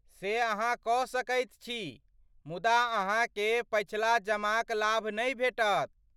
से अहाँ कऽ सकैत छी मुदा अहाँकेँ पछिला जमाक लाभ नहि भेटत।